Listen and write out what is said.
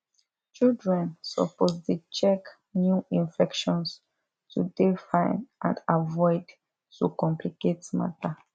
children suppose dey check new infections to dey fine and avoid to complicate matter